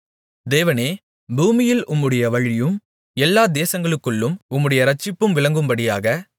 தேவனே பூமியில் உம்முடைய வழியும் எல்லா தேசங்களுக்குள்ளும் உம்முடைய இரட்சிப்பும் விளங்கும்படியாக